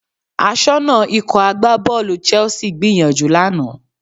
Aṣọ́nà Ikọ̀ agbábọ́ọ̀lù Chelsea gbìyànjú lánàá